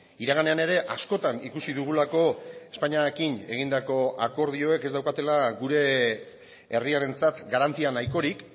iraganean ere askotan ikusi dugulako espainiarekin egindako akordioek ez daukatela gure herriarentzat garantia nahikorik